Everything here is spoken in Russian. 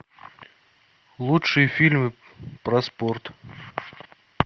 лучшие фильмы про спорт